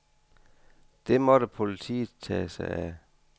Det måtte politiet tage sig af.